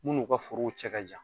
Min n'u ka forow cɛ ka jan